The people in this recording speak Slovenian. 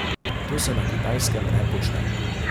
To se na Kitajskem ne počne.